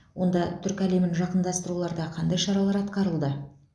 онда түркі әлемін жақындастыруда қандай шаралар атқарылды